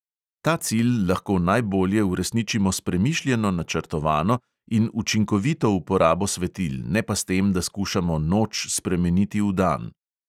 Ta cilj lahko najbolje uresničimo s premišljeno načrtovano in učinkovito uporabo svetil, ne pa s tem, da skušamo noč spremeniti v dan.